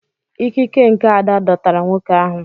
Ikike nke Ada dọtara nwoke ahụ.